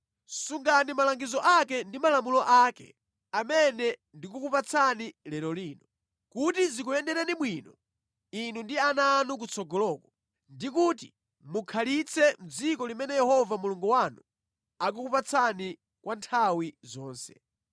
Sungani malangizo ake ndi malamulo ake amene ndikukupatsani lero lino, kuti zikuyendereni bwino inu ndi ana anu kutsogoloko, ndi kuti mukhalitse mʼdziko limene Yehova Mulungu wanu akukupatsani kwa nthawi zonse.